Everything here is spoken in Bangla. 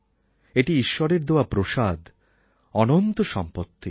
এটি ঈশ্বরের দেওয়া প্রসাদ অনন্ত সম্পত্তি